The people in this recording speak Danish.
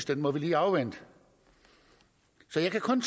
den må vi lige afvente så jeg kan kun